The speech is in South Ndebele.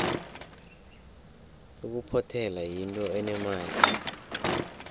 ukuphothela yinto enemali